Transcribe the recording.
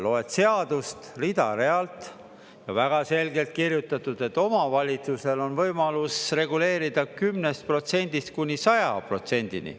Loed seadust rida-realt ja väga selgelt on kirjutatud, et omavalitsusel on võimalus reguleerida 10%-st kuni 100%-ni.